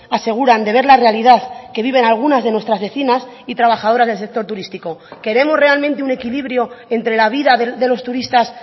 aseguran de ver la realidad que viven algunas de nuestras vecinas y trabajadoras del sector turístico queremos realmente un equilibrio entre la vida de los turistas